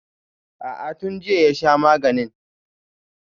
A'a tun jiya ya sha maganin